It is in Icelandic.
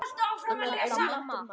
Ég kalla: Mamma!